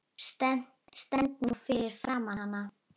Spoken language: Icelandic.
Stend nú fyrir framan hana.